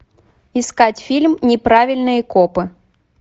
искать фильм неправильные копы